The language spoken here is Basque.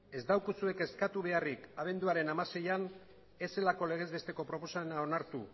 ez daukazue kezkatu beharrik abenduaren hamaseian ez zelako legez besteko proposamena onartu